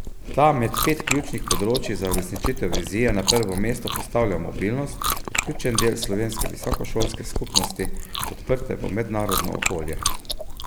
Ta med pet ključnih področij za uresničitev vizije na prvo mesto postavlja mobilnost kot ključen del slovenske visokošolske skupnosti, odprte v mednarodno okolje.